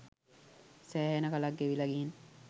සෑහෙන කලක් ගෙවිලා ගිහින්.